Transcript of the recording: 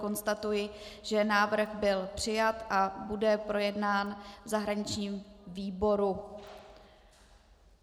Konstatuji, že návrh byl přijat a bude projednán v zahraničním výboru.